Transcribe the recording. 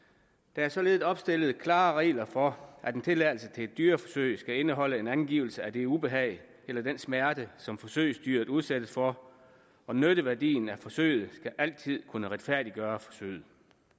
der er således opstillet klare regler for at en tilladelse til et dyreforsøg skal indeholde en angivelse af det ubehag eller den smerte som forsøgsdyret udsættes for og nytteværdien af forsøget skal altid kunne retfærdiggøre forsøget